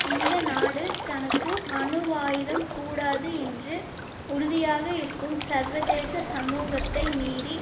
இந்த நாடு தனக்கு அணுவாயுதம் கூடாது என்று உறுதியாக இருக்கும் சர்வதேச சமூகத்தை மீறி